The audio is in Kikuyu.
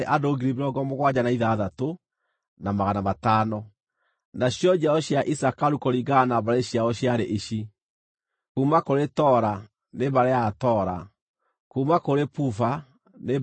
Nacio njiaro cia Isakaru kũringana na mbarĩ ciao ciarĩ ici: kuuma kũrĩ Tola, nĩ mbarĩ ya Atola; kuuma kũrĩ Puva nĩ mbarĩ ya Apuva;